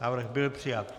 Návrh byl přijat.